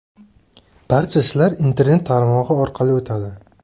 Barcha ishlar internet tarmog‘i orqali o‘tadi.